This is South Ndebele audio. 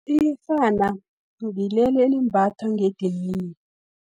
Iyerhana, ngileli elimbathwa ngedidini.